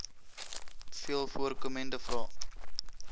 veel voorkomende vrae